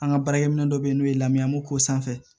An ka baarakɛminɛ dɔ bɛ n'o ye lamɛn an b'o ko sanfɛ